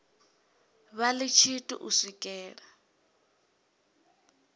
vha ḽi tshithu u swikela